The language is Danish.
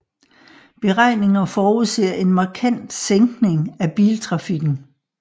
Beregninger forudser en markant sænkning af biltrafikken